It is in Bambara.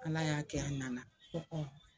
Ala y'a kɛ a nana ko